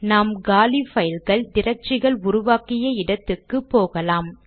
நாம் காலி பைல்கள் டிரக்டரிகள் உருவாக்கிய இடத்துக்கு போகலாம்